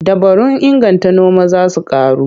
Dabarun inganta noma za su ƙaru.